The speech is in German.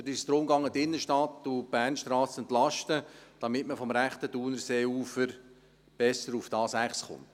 Dort ging es darum, die Innenstadt und die Bernstrasse zu entlasten, damit man vom rechten Thunerseeufer besser zur A6 gelangt.